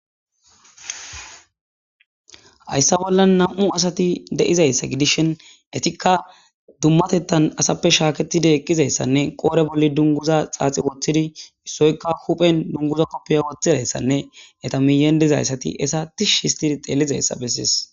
hayssa bolla nam7u asati deizayssa gidishen etikka dummatettan asappe shaaketide eqqizayssanne qoore bolli dunguza xaaxi woththidi issoykka huphen dunguza koppiya woththizayssanne eta miyendezayssati esatish histidi xeelizayssa bessiis